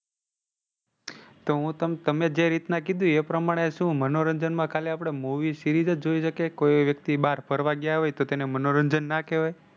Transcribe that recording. તો હું તમ તમે જે રીતના કીધું એ પ્રમાણે શું મનોરંજન માં ખાલી આપડે movie, series જ જોઈ શકીએ? કોઈ વ્યક્તિ બહાર ફરવા ગયા હોય તો તેને મનોરંજન ના કહેવાય?